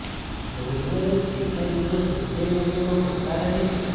રોજ બરોજ કેટલાય વીડિયો સોશિયલ મીડિયામાં ફરતા રહે છે